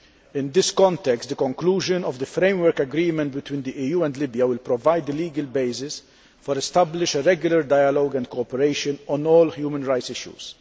In this context, the conclusion of the framework agreement between the EU and Libya will provide the legal basis for establishing a regular dialogue and cooperation on all human rights issues.